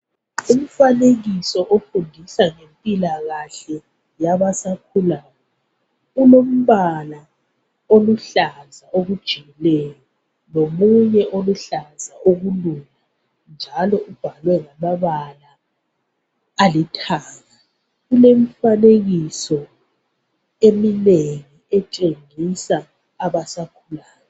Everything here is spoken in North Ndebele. Umfanekiso ofundisa ngempilakahle, yabasakhulayo. Ulombala oluhlaza okujiyileyo lomunye oluhlaza okulula. Njalo ubhalwe ngamabala alithanga. Ulemfanekiso eminengi etshengisa abasakhulayo.